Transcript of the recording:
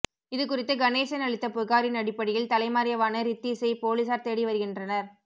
இது குறித்து கணேசன் அளித்த புகாரின் அடிப்படையில் தலைமறைவான ரித்தீஸை போலீசார் தேடி வருகின்றனர்